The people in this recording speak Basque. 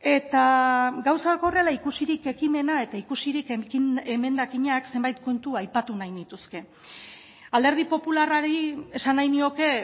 e eta gauzak horrela ikusirik ekimena eta ikusirik emendakinak zenbait kontu aipatu nahi nituzke alderdi popularrari esan nahi nioke